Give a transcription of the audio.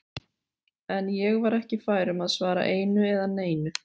En ég var ekki fær um að svara einu eða neinu.